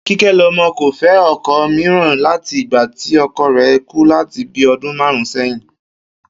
Kíké̩lo̩mo̩ kò fé̩ o̩ko̩ mìíràn láti ìgba tí o̩ko̩ rè̩ kú láti bíi o̩dún márùn-ún sé̩yìn